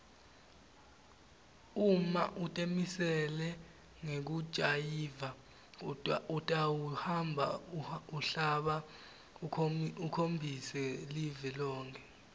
uma utimisele ngekujayiva utawuhamba umhlaba ukhombise live lonkhe